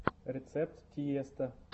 рецепт тиесто